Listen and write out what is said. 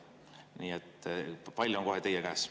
Nii et pall on kohe teie käes.